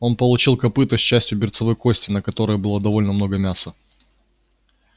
он получил копыто с частью берцовой кости на которой было довольно много мяса